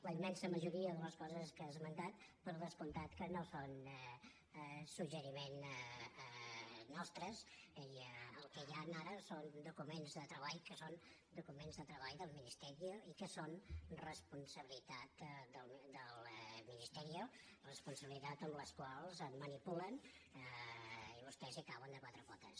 la immensa majoria de les coses que ha esmentat per descomptat que no són suggeriment nostre el que hi han ara són documents de treball que són documents de treball del ministeriosabilitat del ministerioet manipulen i vostès hi cauen de quatre potes